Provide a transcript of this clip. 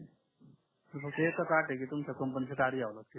फक्त एकाच अट आहे की तुमच्या च घ्यावे लागेल